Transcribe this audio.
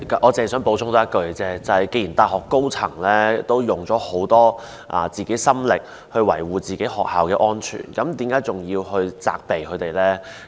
我只想補充一句，既然大學高層已用了很多心力維護學校的安全，為何仍要責備他們呢？